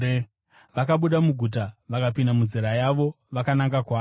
Vakabuda muguta vakapinda munzira yavo vakananga kwaari.